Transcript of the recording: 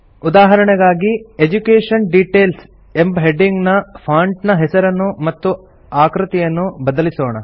ಉದಾಹರಣೆಗಾಗಿ education details ಎಂಬ heading ನ ಫಾಂಟ್ ನ ಹೆಸರನ್ನು ಮತ್ತು ಆಕೃತಿಯನ್ನು ಬದಲಿಸೋಣ